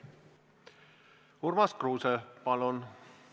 Urmas Kruuse, palun!